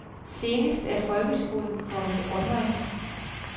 Senest er folkeskolen kommet online.